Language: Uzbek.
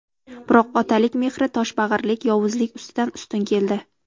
Biroq otalik mehri toshbag‘irlik, yovuzlik ustidan ustun keldi.